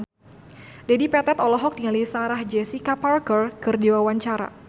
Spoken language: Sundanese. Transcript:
Dedi Petet olohok ningali Sarah Jessica Parker keur diwawancara